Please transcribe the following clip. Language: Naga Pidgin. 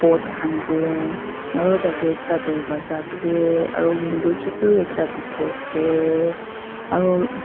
pot khan te aru tarte dorvaza ase aeu window chotu ekta dekhi ase aru